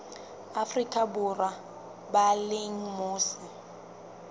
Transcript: afrika borwa ba leng mose